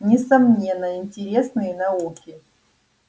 несомненно интересные науки